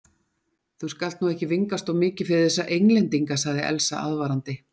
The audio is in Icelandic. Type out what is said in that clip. Þú skalt nú ekki vingast of mikið við þessa Englendinga, sagði Elsa aðvarandi.